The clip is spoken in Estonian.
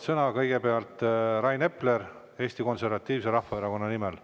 Kõigepealt Rain Epler Eesti Konservatiivse Rahvaerakonna nimel.